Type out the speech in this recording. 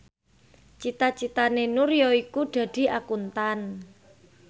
cita citane Nur yaiku dadi Akuntan